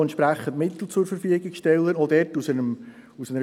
– Der Sprecher der BaK, Grossrat Flück, hat das Wort.